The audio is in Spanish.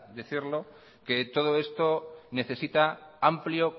decirlo que todo esto necesita amplio